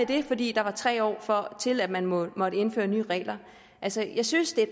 det fordi der var tre år til at man måtte måtte indføre nye regler altså jeg synes at